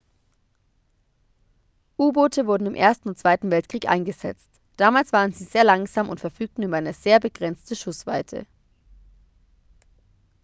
u-boote wurden im ersten und zweiten weltkrieg eingesetzt damals waren sie sehr langsam und verfügten über eine sehr begrenzte schussweite